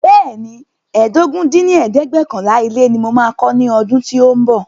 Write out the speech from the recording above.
Bẹẹni, ẹ́ẹdógún dín ní ẹ̀ẹ́dẹ́gbẹ́ọ̀kànlá ilé ní mo máa kọ́ ní ọdún tí o ń bọ̀